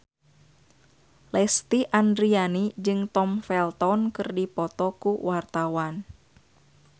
Lesti Andryani jeung Tom Felton keur dipoto ku wartawan